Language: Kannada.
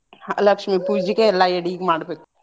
ಹ್ಮ್ ಲಕ್ಷ್ಮೀ ಪೂಜಿಗೆ ಎಲ್ಲಾ ಎಡಿಗ್ Babble ಮಾಡ್ಬೇಕ್.